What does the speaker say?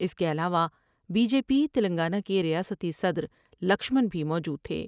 اس کے علاوہ B J P Telangana کے ریاستی صدر لکشمن بھی موجود تھے ۔